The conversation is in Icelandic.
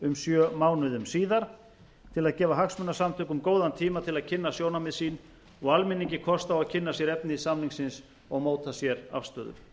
um sjö mánuðum síðar til að gefa hagsmunasamtökum góðan tíma til að kynna sjónarmið sín og almenningi kost á að kynna sér efni samningsins og móta sér afstöðu nefndin